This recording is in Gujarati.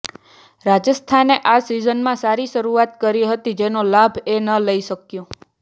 રાજસ્થાને આ સીઝનમાં સારી શરૂઆત કરી હતી જેનો લાભ એ ન લઈ શક્યું